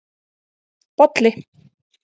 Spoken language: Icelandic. Bolli